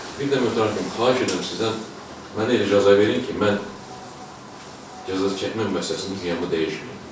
Bir də mütəmadi olaraq xahiş eləyirəm sizdən mənə elə cəza verin ki, mən cəza çəkmə müəssisəsində dünyamı dəyişim.